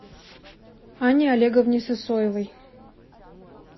анне олеговне сысоевой